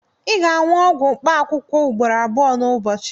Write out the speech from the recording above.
Ị ga-aṅụ ọgwụ mkpaakwụkwọ ugboro abụọ n'ụbọchị